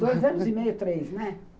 Dois anos e meio, três, né?